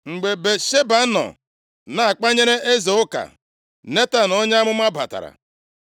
Mgbe Batsheba nọ na-akpanyere eze ụka, Netan onye amụma batara.